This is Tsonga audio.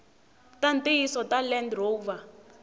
ta ntiyiso ta land rover